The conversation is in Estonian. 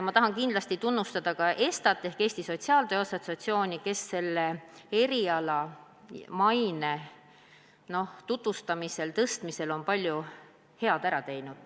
Ma tahan kindlasti tunnustada ka ESTA-t ehk Eesti Sotsiaaltöö Assotsiatsiooni, kes selle eriala tutvustamisel ja selle maine tõstmisel on palju head ära teinud.